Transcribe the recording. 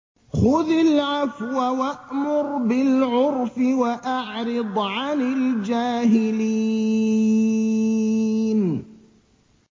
خُذِ الْعَفْوَ وَأْمُرْ بِالْعُرْفِ وَأَعْرِضْ عَنِ الْجَاهِلِينَ